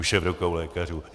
Už je v rukou lékařů.